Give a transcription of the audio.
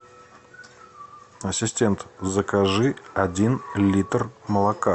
ассистент закажи один литр молока